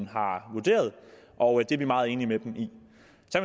har vurderet og det er vi meget enige med dem i